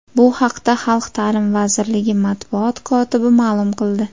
Bu haqda Xalq ta’limi vazirligi matbuot kotibi ma’lum qildi .